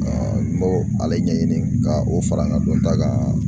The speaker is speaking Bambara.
n b'o ale ɲɛɲini ka o fara n ka dɔn ta kan.